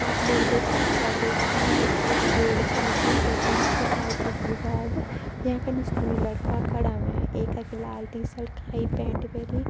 आप लोग देख सक्दा दोस्तों यक एक बोर्ड छ लिख्युं जै पर लिख्युं आयकर बिवाग । याँ पे निस दुई लड़का खड़ा वैयाँ एका की लाल टीसत काई पैंट पैरीं।